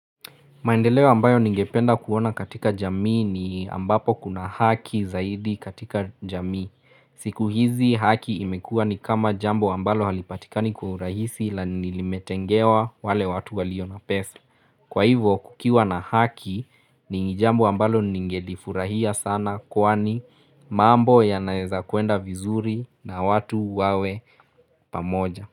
Maendeleo ambayo ningependa kuona katika jamii ni ambapo kuna hakii zaidi katika jamii. Siku hizi hakii imekuwa ni kama jambo ambalo halipatikani kwa urahisi la ni limetengewa wale watu walio na pesa. Kwa hivyo kukiwa na haki ni jambo ambalo ningelifurahia sana kwani mambo yanaweza kuenda vizuri na watu wawe pamoja.